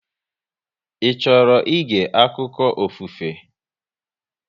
Ị chọrọ ịge akụkọ ofufe?